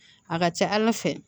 A ka ca ala fɛ